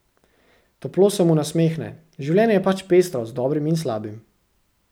Toplo se mu nasmehne: "Življenje je pač pestro z dobrim in slabim.